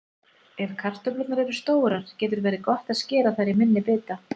Ef kartöflurnar eru stórar getur verið gott að skera þær í minni bita.